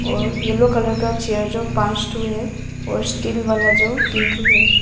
और yellow colour का chair जो पांच ठो है और स्टील वाला जो तीन ठो है।